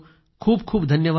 खूप खूप धन्यवाद